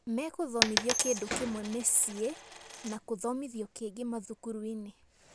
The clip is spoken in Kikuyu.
Mekũthomithwa kĩndũ kĩmwe mĩciĩ na kũthomithwa kĩngĩ mathukuruinĩ".